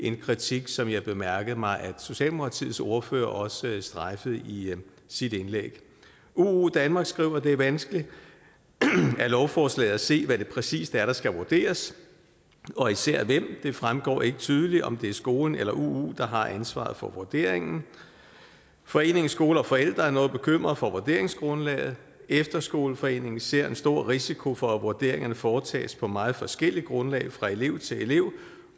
en kritik som jeg bemærkede mig at socialdemokratiets ordfører også strejfede i sit indlæg uu danmark skriver at det er vanskeligt af lovforslaget at se hvad det præcist er der skal vurderes og især af hvem det fremgår ikke tydeligt om det er skolen eller uu der har ansvaret for vurderingen foreningen skole og forældre er noget bekymret for vurderingsgrundlaget efterskoleforeningen ser en stor risiko for at vurderingerne foretages på meget forskellige grundlag fra elev til elev